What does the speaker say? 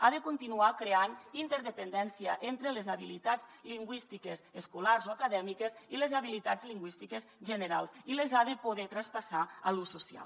ha de continuar creant interdependència entre les habilitats lingüístiques escolars o acadèmiques i les habilitats lingüístiques generals i les ha de poder traspassar a l’ús social